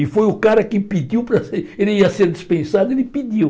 E foi o cara quem pediu para ser... Ele ia ser dispensado, ele pediu.